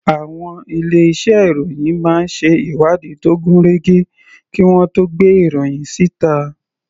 Àwọn ilé iṣẹ́ ìròhìn máa ń ṣe ìwádìí tó gún régé kí wọ́n tó gbé ìròhìn síta.